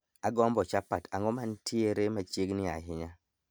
agombo chapat ang`o mantiere machiegni ahinya